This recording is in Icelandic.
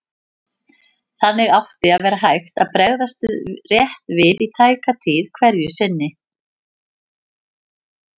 Þannig átti að vera hægt að bregðast rétt við í tæka tíð hverju sinni.